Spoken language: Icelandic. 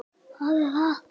Mér fannst svo gaman.